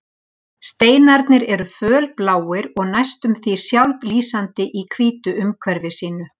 Steinarnir eru fölbláir og næstum sjálflýsandi í hvítu umhverfi sínu